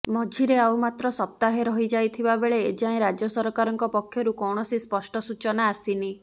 ମଝିରେ ଆଉ ମାତ୍ର ସପ୍ତାହେ ରହି ଯାଇଥିବାବେଳେ ଏଯାଏଁ ରାଜ୍ୟ ସରକାରଙ୍କ ପକ୍ଷରୁ କୌଣସି ସ୍ପଷ୍ଟ ସୂଚନା ଆସିନି